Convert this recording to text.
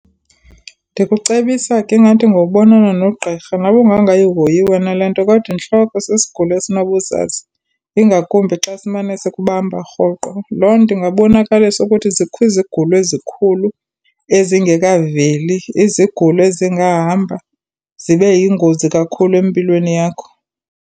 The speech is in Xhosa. Ndikucebisa ke ingathi ngowubonana nogqirha. Noba ungangayihoyi wena le nto kodwa intloko sisigulo esinobuzaza, ingakumbi xa simane sikumbamba rhoqo. Loo ingabonakalisa ukuthi zikho izigulo ezikhulu ezingekaveli, izigulo ezingahamba zibe yingozi kakhulu empilweni yakho.